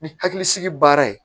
Ni hakilisigi baara ye